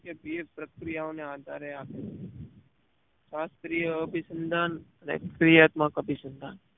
થતી એક પ્રક્રિયા ઓ ને આધારે આપે છે શાસ્ત્રીય અભીસંન્ધાન અને પ્રીયાત્મક અભિસંધાન